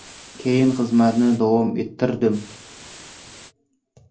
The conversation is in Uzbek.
Keyin xizmatni davom ettirdim.